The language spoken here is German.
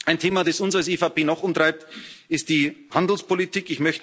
Ein Thema, das uns als EVP noch umtreibt, ist die Handelspolitik.